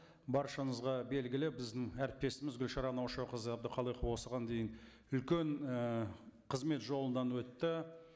баршаңызға белгілі біздің әріптесіміз гүлшара наушақызы әбдіқалықова осыған дейін үлкен і қызмет жолынан өтті